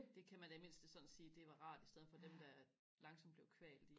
det kan man da i det mindste sådan sige det var rart i stedet for dem der langsomt blev kvalt i